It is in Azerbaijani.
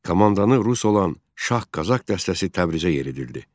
Komandanı rus olan Şah Qazax dəstəsi Təbrizə yeridildi.